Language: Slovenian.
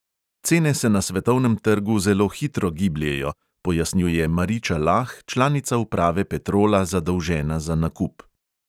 "Cene se na svetovnem trgu zelo hitro gibljejo," pojasnjuje mariča lah, članica uprave petrola, zadolžena za nakup.